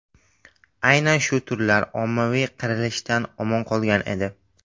Aynan shu turlar ommaviy qirilishdan omon qolgan edi.